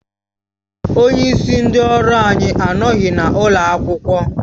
Onyeisi ndị ọrụ anyị anọghị n'ụlọ akwụkwọ